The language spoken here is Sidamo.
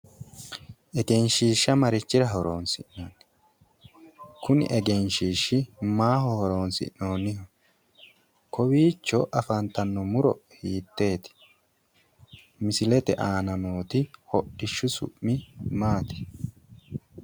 Egenshiishsha marichira horonsi'nanni? Kuni egenshiishshi maaho horonsi'noonniho? Kowiicho afantanno muro hiitteeti? Misilete aana nooti hodhishshu su'mi maati?